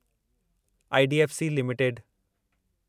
IDFC limited